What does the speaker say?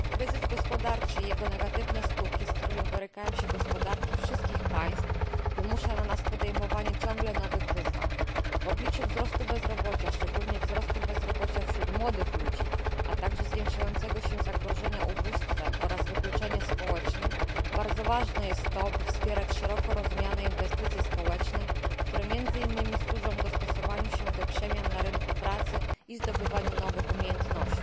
Kryzys gospodarczy i jego negatywne skutki, z którymi borykają się gospodarki wszystkich państw, wymusza na nas podejmowanie ciągle nowych wyzwań. W obliczu wzrostu bezrobocia, szczególnie wzrostu bezrobocia wśród młodych ludzi, a także zwiększającego się zagrożenia ubóstwem oraz wykluczeniem społecznym bardzo ważne jest to, by wspierać szeroko rozumiane inwestycje społeczne, które między innymi służą dostosowaniu się do przemian na rynku pracy i zdobywaniu nowych umiejętności.